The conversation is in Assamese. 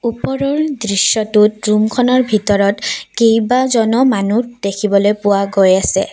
ওপৰৰ দৃশ্যটোত ৰুমখনৰ ভিতৰত কেইবাজনো মানুহ দেখিবলৈ পোৱা গৈ আছে।